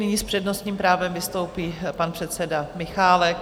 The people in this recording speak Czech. Nyní s přednostním právem vystoupí pan předseda Michálek.